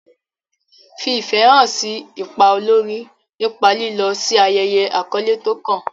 Fi ìfẹ́ hàn sí ipa olórí nípa lílọ sí ayẹyẹ àkọ́lé tó kàn.